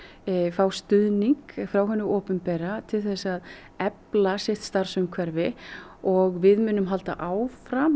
fá stuðning frá hinu opinbera til þess að efla sitt starfsumhverfi og við munum halda áfram